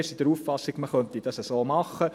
Wir sind der Auffassung, man könne es so machen.